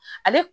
Ale